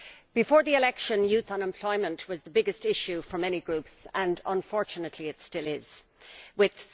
Before the election youth unemployment was the biggest issue for many groups and unfortunately it still is with